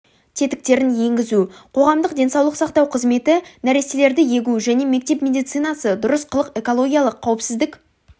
тетіктерін енгізу қоғамдық денсаулық сақтау қызметі нәрестелерді егу және мектеп медицинасы дұрыс қылық экологиялық қауіпсіздік